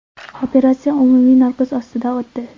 Operatsiya umumiy narkoz ostida o‘tdi.